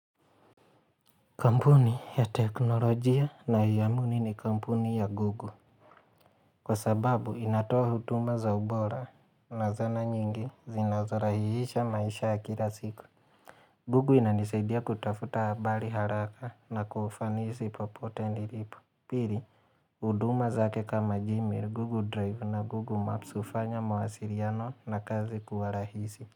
Kampuni ya teknolojia nayoamini ni kampuni ya Gugu. Kwa sababu inatoa hutuma za ubora na zana nyingi zinazorahihisha maisha ya kila siku. Google inanisaidia kutafuta habari haraka na kwa ufanisi popote nilipo. Pili, huduma zake kama Gmail, Google Drive na Google Maps hufanya mawasiliano na kazi kuwa rahisi.